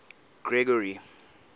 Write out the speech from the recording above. gregory